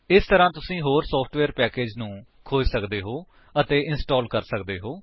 ਇਸੇ ਤਰ੍ਹਾਂ ਤੁਸੀ ਹੋਰ ਸੋਫਟਵੇਅਰ ਪੈਕੇਜਸ ਨੂੰ ਖੋਜ ਸਕਦੇ ਹੋ ਅਤੇ ਇੰਸਟਾਲ ਕਰ ਸਕਦੇ ਹੋ